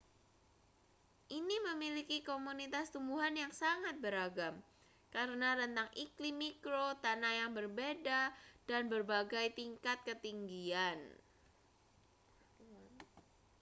ini memiliki komunitas tumbuhan yang sangat beragam karena rentang iklim mikro tanah yang berbeda dan berbagai tingkat ketinggian